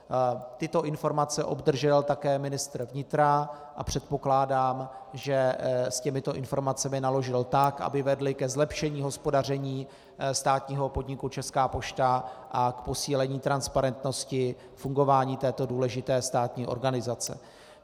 Tyto informace obdržel také ministr vnitra a předpokládám, že s těmito informacemi naložil tak, aby vedly ke zlepšení hospodaření státního podniku Česká pošta a k posílení transparentnosti fungování této důležité státní organizace.